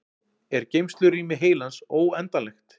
er geymslurými heilans óendanlegt